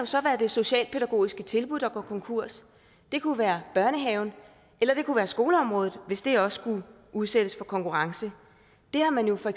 så være det socialpædagogiske tilbud der går konkurs det kunne være børnehaven eller det kunne være på skoleområdet hvis det også skulle udsættes for konkurrence det har man jo for